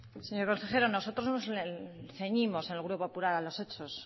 señor consejero nosotros el grupo popular nos ceñimos a los hechos